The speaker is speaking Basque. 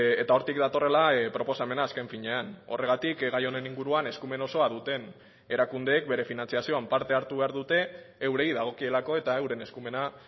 eta hortik datorrela proposamena azken finean horregatik gai honen inguruan eskumen osoa duten erakundeek bere finantzazioan parte hartu behar dute eurei dagokielako eta euren eskumena